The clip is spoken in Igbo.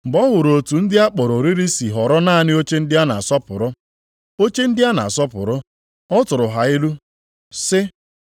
Mgbe ọ hụrụ otu ndị a kpọrọ oriri si họrọ naanị oche ndị a na-asọpụrụ, oche ndị a na-asọpụrụ, ọ tụrụ ha ilu sị,